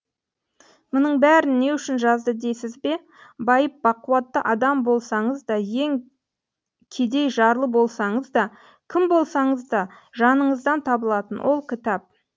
мұның бәрін не үшін жазды дейсіз бе байып бақуатты адам болсаңыз да ең кедей жарлы болсаңыз да кім болсаңыз да жаныңыздан табылатын ол кітап